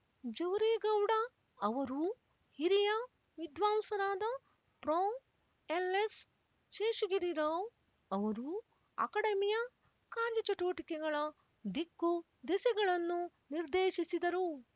ಜವರೇಗೌಡ ಅವರೂ ಹಿರಿಯ ವಿದ್ವಾಂಸರಾದ ಪ್ರೊ ಎಲ್ಎಸ್ ಶೇಷಗಿರಿರಾವ್ ಅವರೂ ಅಕಡೆಮಿಯ ಕಾರ್ಯಚಟುವಟಿಕೆಗಳ ದಿಕ್ಕುದೆಸೆಗಳನ್ನು ನಿರ್ದೇಶಿಸಿದರು